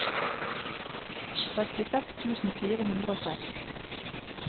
sekstiseks tusen fire hundre og seks